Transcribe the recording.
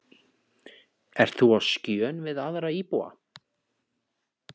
Ert þú á skjön við aðra íbúa?